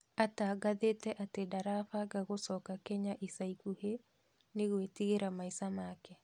Atangathĩte atĩ ndarabanga gũcoka Kenya ica ikuhĩ nĩ gwĩtigĩra maica make.